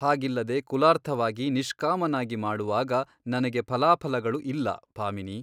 ಹಾಗಿಲ್ಲದೆ ಕುಲಾರ್ಥವಾಗಿ ನಿಷ್ಕಾಮನಾಗಿ ಮಾಡುವಾಗ ನನಗೆ ಫಲಾಫಲಗಳು ಇಲ್ಲ ಭಾಮಿನಿ.